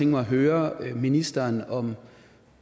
mig at høre ministeren om